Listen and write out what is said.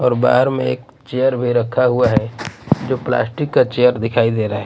और बाहर में एक चेयर भी रखा हुआ है जो प्लास्टिक का चेयर दिखाई दे रहा--